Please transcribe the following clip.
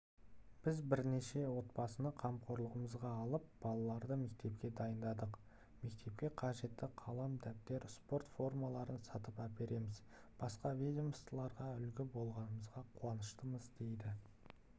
біз бірнеше отбасыны қамқорлығымызға алып балаларды мектепке дайындадық мектепке қажетті қалам-дәптер спорт формаларын сатып әпереміз басқа ведомстволарға үлгі болғанымызға қуаныштымыз дейді